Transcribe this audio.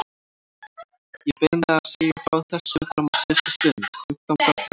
Ég beið með að segja frá þessu fram á síðustu stund, fimmtánda febrúar.